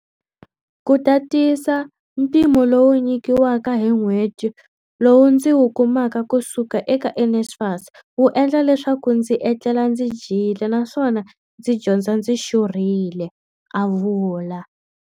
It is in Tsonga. Ku tatisa, mpimo lowu nyikiwaka hi n'hweti lowu ndzi wu kumaka kusuka eka NSFAS wu endla leswaku ndzi etlela ndzi dyile na swona ndzi dyondza ndzi xurhile, a vula.